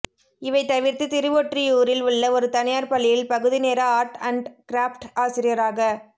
இவை தவிர்த்து திருவொற்றியூரில் உள்ள ஒரு தனியார் பள்ளியில் பகுதி நேர ஆர்ட் அண்ட் கிராஃப்ட் ஆசிரியராகப்